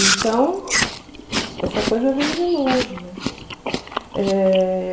Então, essa coisa vem de longe, né? Eh...